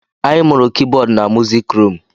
Anyị mụrụ Kibọd na musik rum